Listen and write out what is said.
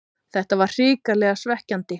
Þetta var hrikalega svekkjandi